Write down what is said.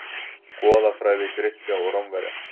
Goðafræði Grikkja og Rómverja.